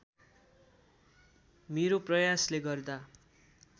मेरो प्रयासले गर्दा